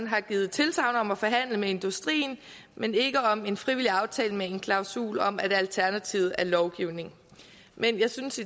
har givet tilsagn om at forhandle med industrien men ikke om en frivillig aftale med en klausul om at alternativet er lovgivning men jeg synes